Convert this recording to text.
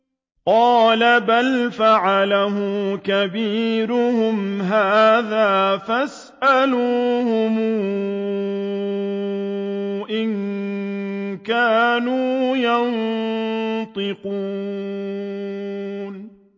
قَالَ بَلْ فَعَلَهُ كَبِيرُهُمْ هَٰذَا فَاسْأَلُوهُمْ إِن كَانُوا يَنطِقُونَ